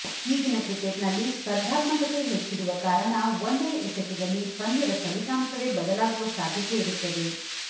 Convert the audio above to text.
ಈಗಿನ ಕ್ರಿಕೆಟ್ನಲ್ಲಿ ಸ್ಪರ್ಧಾತ್ಮಕತೆ ಹೆಚ್ಚಿರುವ ಕಾರಣ ಒಂದೇ ಎಸೆತದಲ್ಲಿ ಪಂದ್ಯದ ಫಲಿತಾಂಶವೇ ಬದಲಾಗುವ ಸಾಧ್ಯತೆಯಿರುತ್ತದೆ